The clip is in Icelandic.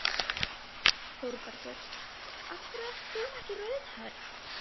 ÞÓRBERGUR: Af hverju ert þú ekki rauðhærð?